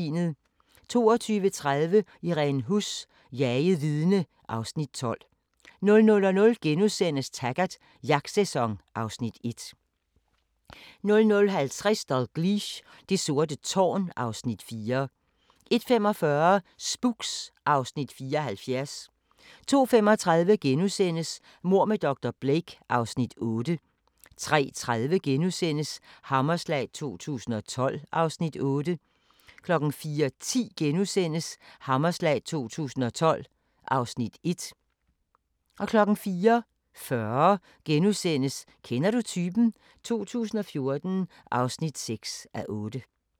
22:30: Irene Huss: Jaget vidne (Afs. 12) 00:00: Taggart: Jagtsæson (Afs. 1)* 00:50: Dalgliesh: Det sorte tårn (Afs. 4) 01:45: Spooks (Afs. 74) 02:35: Mord med dr. Blake (Afs. 8)* 03:30: Hammerslag 2012 (Afs. 8)* 04:10: Hammerslag 2012 (Afs. 1)* 04:40: Kender du typen? 2014 (6:8)*